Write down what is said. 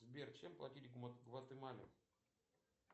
сбер чем платить в гватемале